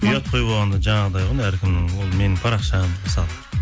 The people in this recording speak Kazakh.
ұят қой болғанда жаңағыдай ғой әркімнің ол менің парақшам мысалы